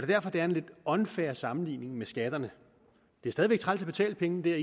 derfor det er en lidt unfair sammenligning med skatterne det er stadig væk træls at betale pengene det er